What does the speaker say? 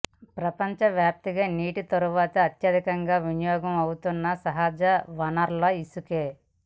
ప్రపంచవ్యాప్తంగా నీటి తర్వాత అత్యధికంగా వినియోగం అవుతున్న సహజ వనరు ఇసుకే